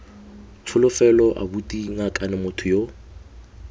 tsholofelo abuti ngakane motho yo